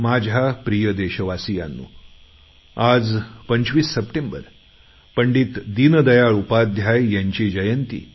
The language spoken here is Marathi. माझ्या प्रिय देशवासियांनो आज 25 सप्टेंबर पंडीत दीनदयाळ उपाध्याय यांची जयंती